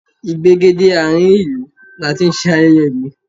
Ìgbègéde àárín ìlú ni a ti ń ṣe ayẹyẹ ìlú